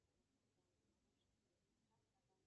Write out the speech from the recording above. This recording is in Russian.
сбер включай канал тв три